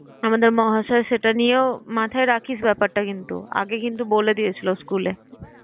আমাদের মহাশয়। সেটা নিয়েও মাথায় রাখিস ব্যাপারটা কিন্তু আগে কিন্তু বলে দিয়েছিল school এ।